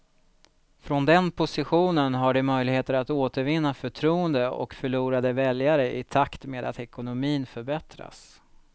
Från den positionen har de möjligheter att återvinna förtroende och förlorade väljare i takt med att ekonomin förbättras.